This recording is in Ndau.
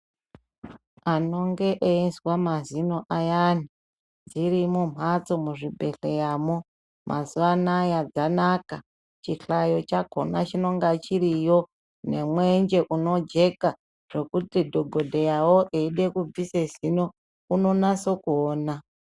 Anonge eizwa mazino ayani dzirimo mhatso muzvibhedhleyamo. Mazuva anaya dzanaka chihlayo chakona chinonga chiriyo, nomwenje unojeka zvokuti dhogodheyavo eida kubvisa zinonaso kuona.